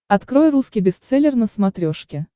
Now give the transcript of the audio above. открой русский бестселлер на смотрешке